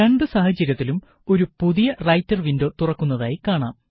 രണ്ടു സാഹചര്യത്തിലും ഒരു പുതിയ റൈറ്റര് വിന്ഡോ തുറക്കുന്നതായി കാണാം